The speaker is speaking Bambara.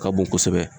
Ka bon kosɛbɛ